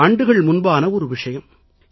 பல ஆண்டுகள் முன்பான ஒரு விஷயம்